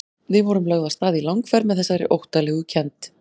Við vorum lögð af stað í langferð með þessari óttalegu kennd.